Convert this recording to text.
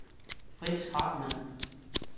Frits Hartmann